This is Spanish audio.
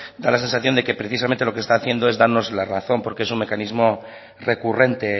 da la sensación de que precisamente lo que está haciendo es darnos la razón porque es un mecanismo recurrente